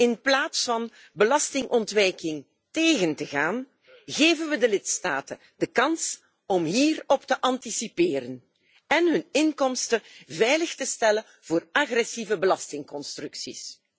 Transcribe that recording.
In plaats van belastingontwijking tegen te gaan, geven we de lidstaten de kans om hierop te anticiperen en hun inkomsten veilig te stellen voor agressieve belastingconstructies.